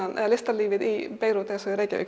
eða listalífið í Beirút eins og í Reykjavík